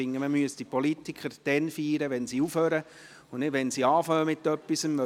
Ich finde, man müsste die Politiker dann feiern, wenn sie aufhören und nicht, wenn sie mit etwas beginnen.